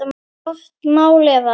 Gott mál eða?